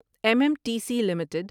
M M T C limited